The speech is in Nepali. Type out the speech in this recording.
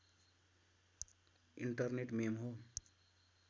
इन्टरनेट मेम हो